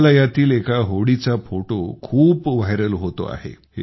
मेघालयातील एका होडीचा फोटो खूप व्हायरल होतो आहे